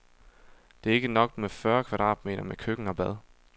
Det er ikke nok med fyrre kvadratmeter med køkken og bad.